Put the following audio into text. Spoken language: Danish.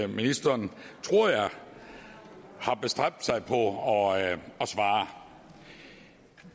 ministeren tror jeg har bestræbt sig på at svare